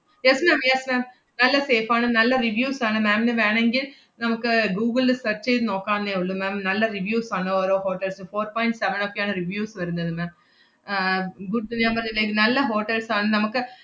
yes ma'am yes ma'am നല്ല safe ആണ്, നല്ല reviews ആണ്. ma'am ന് വേണങ്കിൽ നമ്മക്ക് ഗൂഗിളിൽ search ചെയ്ത് നോക്കാവുന്നേ ഒള്ളൂ ma'am നല്ല reviews ആണ് ഓരോ hotels ഉം four point seven ഒക്കെയാണ് reviews വരുന്നത് ma'am ആഹ് good ന്ന് ഞാൻ പറഞ്ഞില്ലേ, നല്ല hotels ആണ് നമക്ക്,